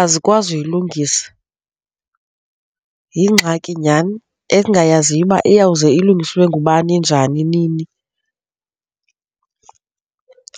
azikwazi uyilungisa, yingxaki nyhani endingayaziyo uba iyawuze ilungiswe ngubani njani, nini.